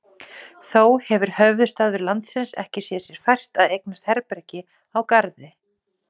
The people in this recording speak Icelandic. Þó hefir höfuðstaður landsins ekki séð sér fært að eignast herbergi á Garði.